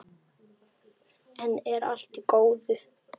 Enn er allt í góðu.